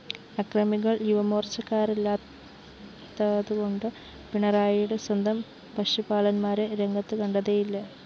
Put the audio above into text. അക്രമികള്‍ യുവമോര്‍ച്ചക്കാരല്ലാത്തതുകൊണ്ട് പിണറായിയുടെ സ്വന്തം പശുപാലന്മാരെ രംഗത്തുകണ്ടതേയില്ല